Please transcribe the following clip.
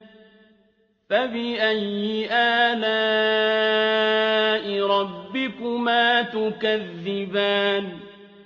فَبِأَيِّ آلَاءِ رَبِّكُمَا تُكَذِّبَانِ